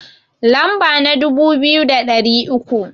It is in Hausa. Lamba na dubu biyu da ɗari uku